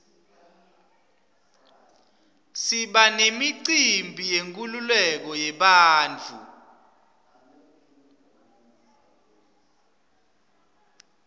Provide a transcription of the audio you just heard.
siba nemicimbi yenkululeko yebantfu